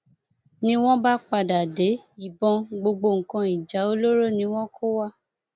ni wọn bá padà dé ìbọn gbogbo nǹkan ìjà olóró ni wọn kó wá